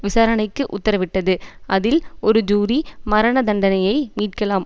விசாரணைக்கு உத்தரவிட்டது அதில் ஒரு ஜூரி மரண தண்டனையை மீட்கலாம்